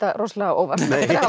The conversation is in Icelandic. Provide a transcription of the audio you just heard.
rosalega á óvart